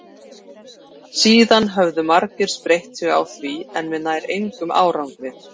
síðan höfðu margir spreytt sig á því en með nær engum árangri